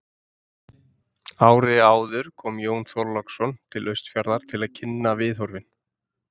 Árið áður kom Jón Þorláksson til Austfjarða til að kynna viðhorfin.